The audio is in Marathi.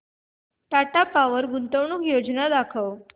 टाटा पॉवर गुंतवणूक योजना दाखव